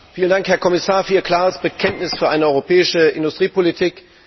Vielen Dank, Herr Kommissar, für Ihr klares Bekenntnis zu einer europäischen Industriepolitik.